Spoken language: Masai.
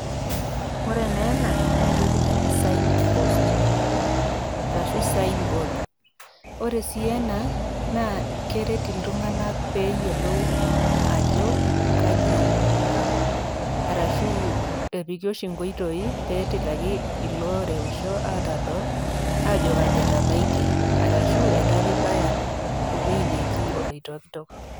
ore naa ena naa entoki naji sign post arashu sign board ore sii ena naa keret iltung'anak peyiolou ajo kaji inakop arashu epiki oshi inkoitoi petilaki iloreusho atadol ajo kaji etabaitie arashu etaa pibaya ewueji neji oloitokitok.